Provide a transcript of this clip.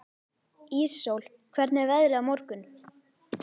Íssól, hvernig er veðrið á morgun?